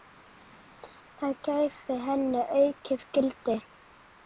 Það gæfi henni aukið gildi.